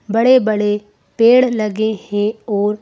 बड़े-बड़े पेड़ लगे हैं और--